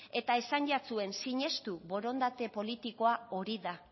eta esan jatzuen sinestu borondate politikoa hori da